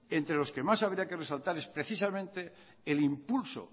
entre los que más habría que resaltar es precisamente el impulso